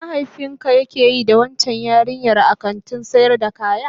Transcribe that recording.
Me mahaifinka yake yi da waccan yarinyar a kantin sayar da kaya?